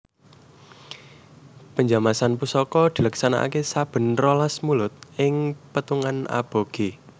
Penjamasan Pusaka dileksanakaké saben rolas Mulud ing pètungan aboge